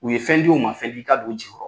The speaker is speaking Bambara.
U ye fɛn di o man fɛn di i ka don o jigi kɔrɔ.